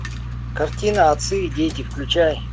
картина отцы и дети включай